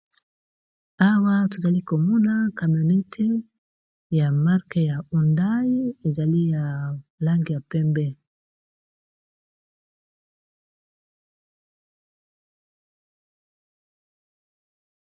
Awa tozali komona camionette ya marque ya ondai ezali ya langi ya pembe.